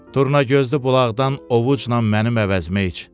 Turnagözlü bulaqdan ovucnan mənim əvəzimə iç.